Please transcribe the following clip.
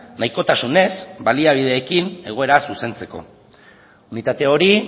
nahikotasunez baliabideekin egoera zuzentzeko unitate hori